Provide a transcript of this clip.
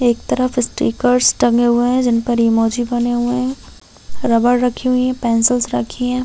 एक तरफ स्टिकर्स टंगे हुए है जिन पर इमोजी बने हुए है रबर रखी हुई है पेंसिल्स रखी हुई है।